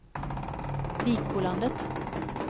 Vikbolandet